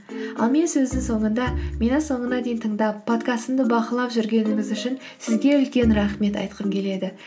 ал мен сөздің соңында мені соңына дейін тыңдап подкастымды бақылап жүргеніңіз үшін сізге үлкен рахмет айтқым келеді